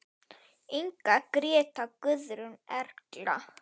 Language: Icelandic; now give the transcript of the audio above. Inga, Gréta, Guðrún, Erla.